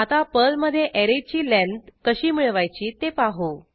आता पर्लमधे ऍरेची लेंथ कशी मिळवायची ते पाहू